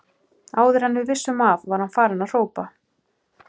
Áður en við vissum af var hann farinn að hrópa